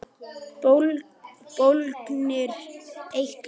Bólgnir eitlar